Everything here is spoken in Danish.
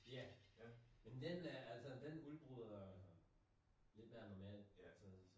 Ja! Men den øh den altså den udbryder lidt mere normalt altså